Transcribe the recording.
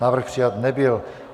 Návrh přijat nebyl.